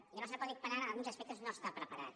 i el nostre codi penal en alguns aspectes no està preparat